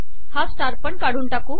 हा स्टार पण काढून टाकू